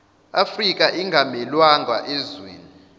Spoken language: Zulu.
afrika ingamelwanga ezweni